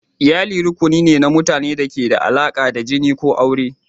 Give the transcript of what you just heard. Iyali rukuni ne na mutanen da ke da alaƙa da jini ko aure.